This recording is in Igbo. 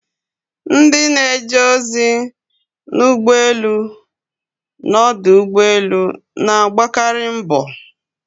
Ndị na-eje ozi na ụgbọelu na ọdụ ụgbọelu na-agbakari mbo.